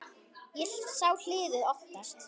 Ég sá hliðið opnast.